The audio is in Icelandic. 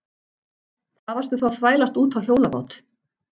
Hvað varstu þá að þvælast út á hjólabát?